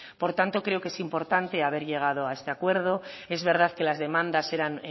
por tanto creo que es importante haber llegado a este acuerdo es verdad que las demandas eran